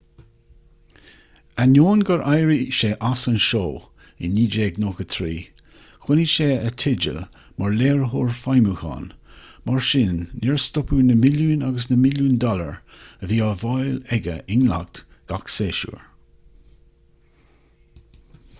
ainneoin gur éirigh sé as an seó i 1993 choinnigh sé a theideal mar léiritheoir feidhmiúcháin mar sin níor stopadh na milliúin agus na milliúin dollar a bhí á bhfáil aige i ndleacht gach séasúr